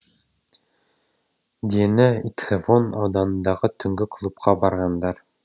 дені итхэвон ауданындағы түнгі клубқа барғандар